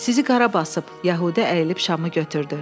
Sizi qara basıb, Yəhudi əyilib şamı götürdü.